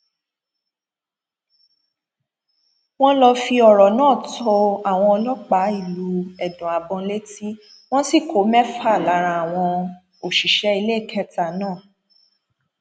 wọn lọọ fi ọrọ náà tó àwọn ọlọpàá ìlú ẹdùnàbọn létí wọn sì kọ mẹfà lára àwọn òṣìṣẹ iléekétà náà